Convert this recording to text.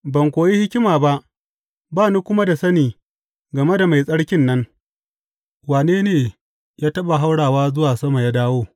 Ban koyi hikima ba, ba ni kuma da sani game da Mai Tsarkin nan, Wane ne ya taɓa haura zuwa sama ya dawo?